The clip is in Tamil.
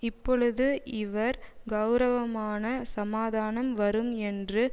இப்பொழுது இவர் கெளரவமான சமாதானம் வரும் என்று